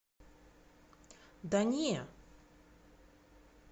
да не